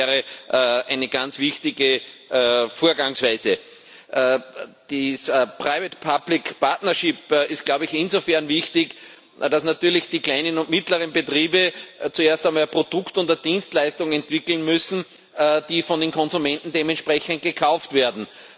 Ich glaube, das wäre eine ganz wichtige Vorgangsweise. Die private public partnership ist glaube ich insofern wichtig, als natürlich die kleinen und mittleren Betriebe zuerst einmal Produkte oder Dienstleistungen entwickeln müssen, die von den Konsumenten dementsprechend gekauft werden.